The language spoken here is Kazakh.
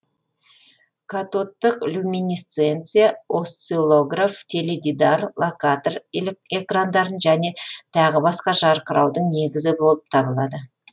катодтық люминесценция осциллограф теледидар локатор экрандарын және тағы басқа жарқыраудың негізі болып табылады